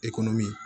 Ekɔliminɛn